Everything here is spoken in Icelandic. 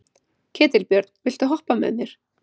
Ketilbjörn, viltu hoppa með mér?